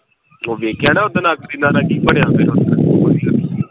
ਓਹ ਵੇਖਿਆ ਨਾ ਉਦਨ ਅੱਗ ਕਿੱਦਾਂ ਲੱਗੀ